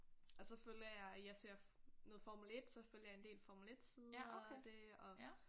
Og så følger jeg jeg ser noget formel 1 så følger jeg en del formel 1 sider og det og